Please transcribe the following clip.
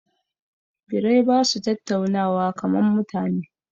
Birai ba su tattaunawa kaman mutane